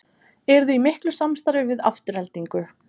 Eruði í miklu samstarfi við Aftureldingu?